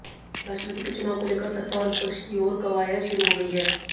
राष्ट्रपति के चुनाव को लेकर सत्ता और विपक्ष की ओर कवायद शुरू हो गई है